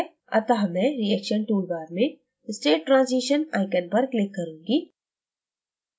अतः मैं reaction toolbar में state transition icon पर click करूंगी